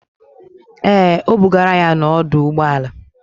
Ee, o bugara ya n'ọdọụgbọala.